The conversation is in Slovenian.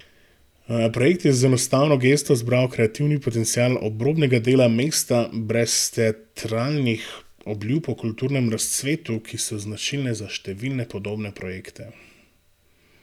Projekt je z enostavno gesto zbral kreativni potencial obrobnega dela mesta, brez teatralnih obljub o kulturnem razcvetu, ki so značilne za številne podobne projekte.